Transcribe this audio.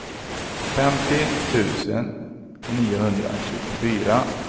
femtio tusen niohundratjugofyra